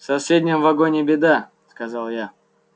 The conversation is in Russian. в соседнем вагоне беда сказал я